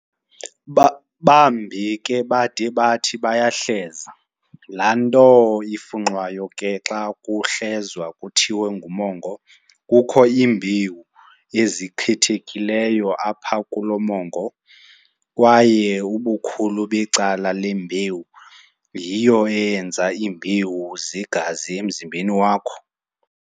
Bambi ke bade bathi bayahleza, laanto ifunxwayo ke xa kuhlezwa kuthiwa ngumongo. Kukho iimbewu ezikhethekileyo apha kulo mongo, kwaye ubukhulu becala le mbewu yiyo eyenza iimbewu zegazi emzimbeni wakho.